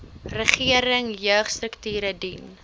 regering jeugstrukture dien